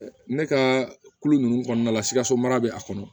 Ne ka kulo nunnu kɔnɔna la sikaso mara be a kɔnɔ